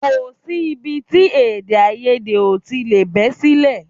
Kò sí ibi tí èdèàìyedè ò tí lè bẹ́ sílẹ̀